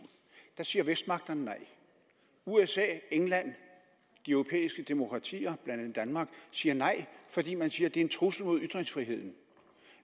der siger vestmagterne nej usa england de europæiske demokratier blandt andet danmark siger nej fordi man siger at det er en trussel mod ytringsfriheden